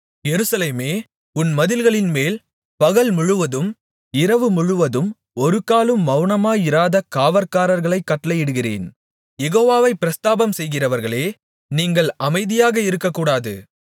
எருசலேமே உன் மதில்களின்மேல் பகல்முழுவதும் இரவுமுழுவதும் ஒருக்காலும் மவுனமாயிராத காவற்காரர்களைக் கட்டளையிடுகிறேன் யெகோவாவைப் பிரஸ்தாபம்செய்கிறவர்களே நீங்கள் அமைதியாக இருக்ககூடாது